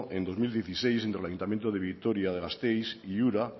en dos mil dieciséis entre el ayuntamiento de vitoria gasteiz y ura